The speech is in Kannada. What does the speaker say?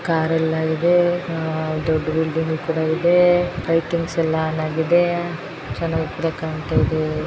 ಕಾರ್ ಎಲ್ಲ ಇದೆ ದೊಡ್ಡ ಬಿಲ್ಡಿಂಗ್ ಕೂಡ ಇದೆ ಲೈಟಿಂಗ್ಸ್ ಕೂಡ ಆನ್ ಆಗಿದೆ ಜನವು ಕೂಡ ಕಾಣುತ ಇದೆ.